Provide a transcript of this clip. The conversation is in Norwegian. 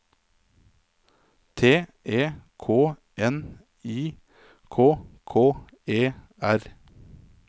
T E K N I K K E R